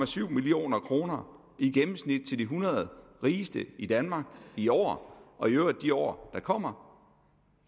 to million kroner i gennemsnit til de hundrede rigeste i danmark i år og i øvrigt de år der kommer